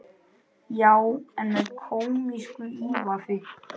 Já, en með kómísku ívafi.